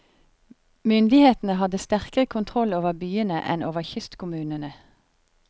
Myndighetene hadde sterkere kontroll over byene enn over kystkommunene.